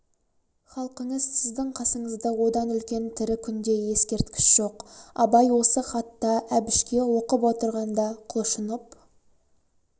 халқыңыз сіздің қасыңызда одан үлкен тірі күнде ескерткіш жоқ абай осы хатта әбішке оқып отырғанда құлшынып